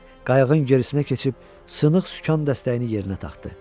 Qayığın gerisinə keçib sınıq sükan dəstəyini yerinə taxdı.